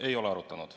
Ei ole arutatud.